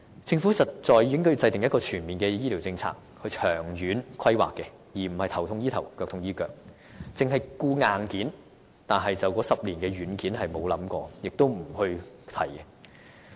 政府實在應該制訂全面的醫療政策，以作長遠規劃，而非"頭痛醫頭，腳痛醫腳"，或只顧硬件，而沒有想過該10年間的軟件，而且也不願提起這些問題。